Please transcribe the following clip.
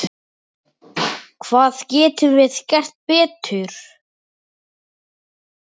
Hvað getum við gert betur?